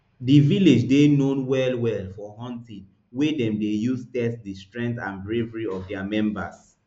di village dey known well well for hunting wey dem dey use test di strength and bravery of dia members